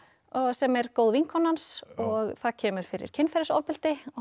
sem er góð vinkona hans og það kemur fyrir kynferðisofbeldi